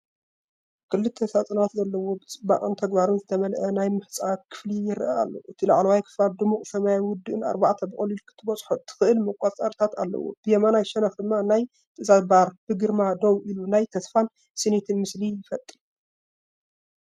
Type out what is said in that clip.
ክልተ ሳጹናት ዘለዎ ብጽባቐን ተግባርን ዝተመልአ ናይ ምሕጻብ ክፍሊይረአ ኣሎ። እቲ ላዕለዋይ ክፋል ድሙቕ ሰማያዊ ውድእን ኣርባዕተ ብቐሊሉ ክትበጽሖ እትኽእል መቆጻጸሪታትን ኣለዎ። ብየማናይ ሸነኽ ድማ ናይ ትእዛዝ ባር ብግርማ ደው ኢሉ ናይ ተስፋን ስኒትን ምስሊ ይፈጥር።